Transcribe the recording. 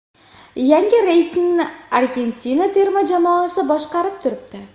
Yangi reytingni Argentina terma jamoasi boshqarib turibdi.